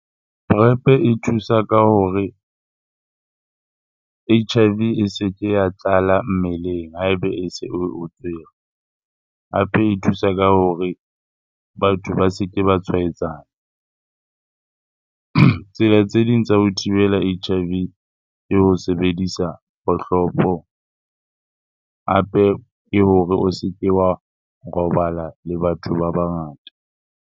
Prep e thusa ka hore H_I_V e se ke ya tlala mmeleng ha ebe e se o o tshwere. Hape e thusa ka hore batho ba se ke ba tshwaetsana. Tsela tse ding tsa ho thibela H_I_V ke ho sebedisa kgohlopo, hape ke hore o se ke wa robala le batho ba bangata.